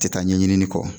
Tɛ taa ɲɛɲini kɔ